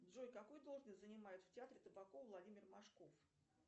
джой какую должность занимает в театре табакова владимир машков